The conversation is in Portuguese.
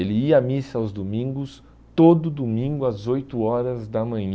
Ele ia à missa aos domingos, todo domingo às oito horas da